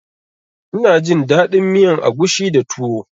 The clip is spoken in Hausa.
Ina jin daɗin miyan agushi da tuwo